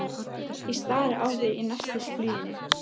Ég stari á þig í neistafluginu.